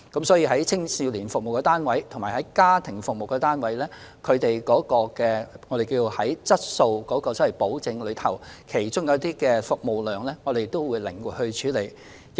所以，就青少年服務單位及家庭服務單位，我們會按質素保證的需要靈活處理服務量的問題。